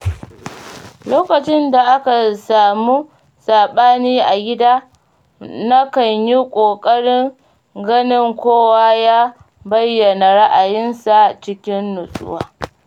Lokacin da aka samu saɓani a gida, nakan yi ƙoƙarin ganin kowa ya bayyana ra'ayinsa cikin nutsuwa.